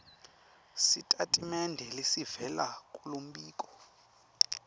sitatimende lesivela kulombiko